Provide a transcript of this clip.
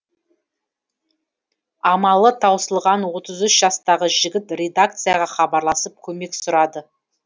амалы таусылған отыз үш жастағы жігіт редакцияға хабарласып көмек сұрады